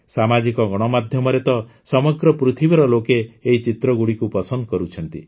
ସାମାଜିକ ଗଣମାଧ୍ୟମରେ ତ ସମଗ୍ର ପୃଥିବୀର ଲୋକ ଏହି ଚିତ୍ରଗୁଡ଼ିକୁ ପସନ୍ଦ କରୁଛନ୍ତି